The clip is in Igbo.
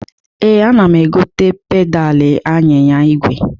Ee, ana m egote pedalị anyịnya igwe.